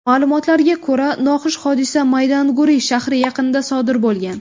Ma’lumotlariga ko‘ra, noxush hodisa Maydanguri shahri yaqinida sodir bo‘lgan.